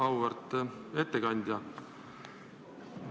Auväärt ettekandja!